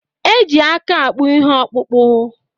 Eji aka akpụ ihe okpụkpu